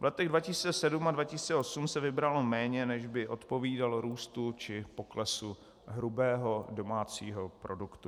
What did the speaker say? V letech 2007 a 2008 se vybralo méně, než by odpovídalo růstu či poklesu hrubého domácího produktu.